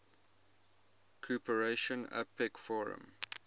cooperation apec forum